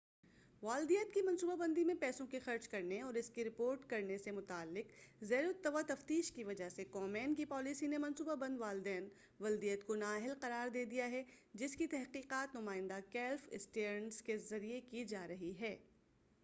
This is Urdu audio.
والدیت کی منصوبہ بندی میں پیسوں کے خرچ کرنے اور اس کی رپورٹ کرنے سے متعلق زیر التواء تفتیش کی وجہ سے کومین کی پالیسی نے منصوبہ بند والدیت کو نااہل قرار دے دیا ہے جس کی تحقیقات نمائندہ کلیف اسٹیئرنس کے ذریعہ کی جارہی ہے